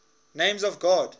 names of god